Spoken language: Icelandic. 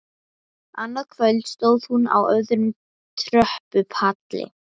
Þetta endar sjálfsagt með skelfingu segir Dóri ánægjulegur á svip.